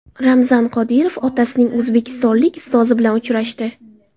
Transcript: Ramzan Qodirov otasining o‘zbekistonlik ustozi bilan uchrashdi.